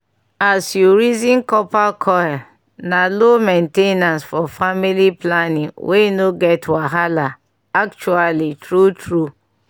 as u reason copper coil na low main ten ance for family planning wey no get wahala actually true true